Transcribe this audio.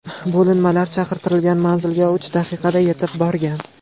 Bo‘linmalar chaqirilgan manzilga uch daqiqada yetib borgan.